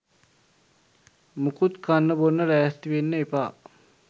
මුකුත් කන්න බොන්න ලෑස්ති වෙන්න එපා.